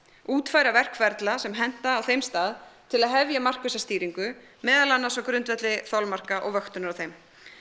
útfæra verkferla sem henta á þeim stað til að hefja markvissa stýringu meðal annars á grundvelli þolmarka og vöktunar á þeim